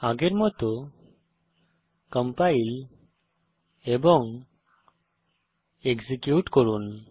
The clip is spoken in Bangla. আগের মত কম্পাইল এবং এক্সিকিউট করুন